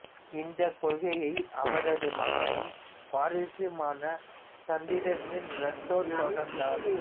இந்தக் கொள்கையை அவரது மகனும் வாரிசுமான சந்திரசென் ரத்தோர் தொடர்ந்தார்